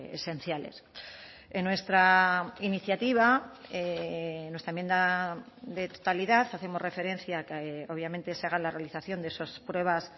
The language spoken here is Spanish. esenciales en nuestra iniciativa nuestra enmienda de totalidad hacemos referencia a que obviamente se haga la realización de esas pruebas